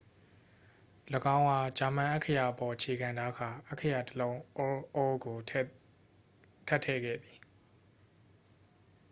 "၎င်းအား ဂျာမန် အက္ခရာအပေါ် အခြေခံထားကာ အက္ခရာ တစ် လုံး "õ/õ" ကို ထပ်ထည့်ခဲ့သည်။